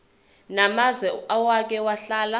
namazwe owake wahlala